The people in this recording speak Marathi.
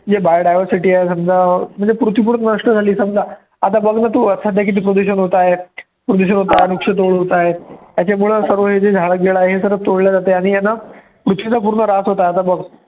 जे bio diversity आहे समजा म्हणजे पृथ्वी पूर्ण नष्ट झाली समजा आता बघ ना तू सध्या किती प्रदूषण आहे, प्रदूषण होतं आहे, वृक्षतोड होतं आहे, त्याच्यामुळे सर्व हे झाडं बीडं आहे ते सर्व तोडलं जात आहे आणि आहे ना पृथ्वीचा पूर्ण ऱ्हास होतं आहे.